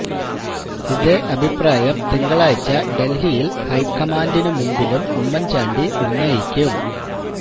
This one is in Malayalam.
ഇതേ അഭിപ്രായം തിങ്കളാഴ്ച ഡൽഹിയിൽ ഹൈക്കമാൻഡിനു മുന്നിലും ഉമ്മൻ ചാണ്ടി ഉന്നയിക്കും